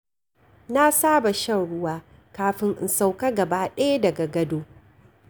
Na saba shan ruwa kafin in sauƙa gaba ɗaya daga gado.